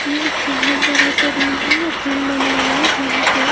ये एक बहुत बड़ा सा रूम है जिम बना हुआ है जहाँ पे--